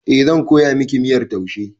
Eh, zan koya miki miyar taushe